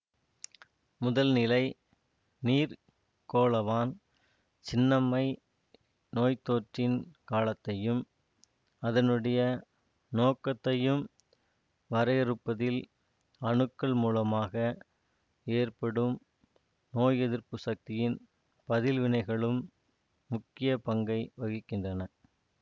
முதல்நிலை நீர்க்கோளவான் சின்னம்மை நோய்த்தொற்றின் காலத்தையும் அதனுடைய நோக்கத்தையும் வரையறுப்பதில் அணுக்கள் மூலமாக ஏற்படும் நோய் எதிர்ப்பு சக்தியின் பதில்வினைகளும் முக்கிய பங்கை வகிக்கின்றன